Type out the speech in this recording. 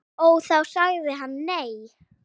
Og þá sagði hann nei.